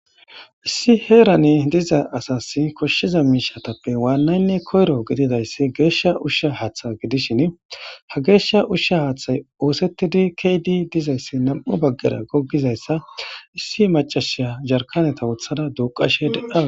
Issi heran diza asasi koshiza mishatappe wanayinne koyroyi geesha usha hathe gidishn ha gesha usha hathay osetidi ke'id dizaysi nam'u bagara gogizaysa issi macashiya yarkaneta wothada duukashe de'awusi .